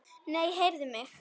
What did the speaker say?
Nei, heyrðu mig.